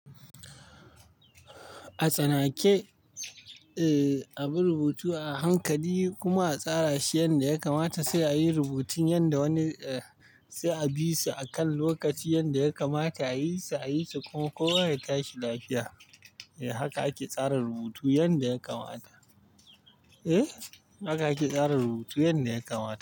A tsanake, bi rubutu a hankali kuma a tsara shi yadda ya kamata, sai a yi rubutun yadda wani-- sai a bi su akan lokaci yadda ya kamata. A yi su, a yi su kuma kowa ya tashi lafiya. Haka ake tsara rubutu yadda ya kamata. Eh, haka ake tsara rubutu yadda ya kamata.